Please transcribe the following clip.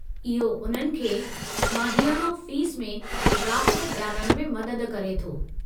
इहो उन्हनि खे माहियानो फ़ीस में राहत ॾियारणु में मदद करे थो।